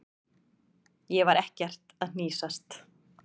Ég var ekkert að hnýsast.